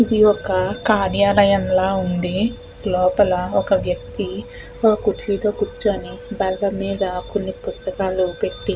ఇది ఒక కార్యాలయం లాగా ఉంది లోపల ఒక వ్యక్తి కుర్చీలో కూర్చొని బల్లమీద కొన్ని పుస్తకాలు పెట్టి --